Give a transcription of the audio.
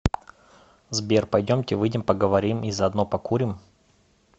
сбер пойдемте выйдем поговорим и заодно покурим